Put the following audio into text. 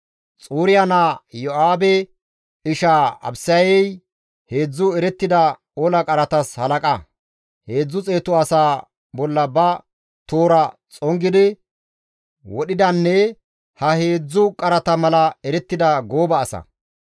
Xuriya naa Iyo7aabe ishaa Abisayey heedzdzu erettida ola qaratas halaqa; heedzdzu xeetu asaa bolla ba toora xongidi wodhidanne ha heedzdzu qarata mala erettida gooba asa.